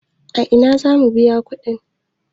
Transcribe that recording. A ina za mu biya kuɗi?